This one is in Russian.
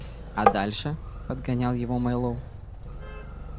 а дальше подгонял его мэллоу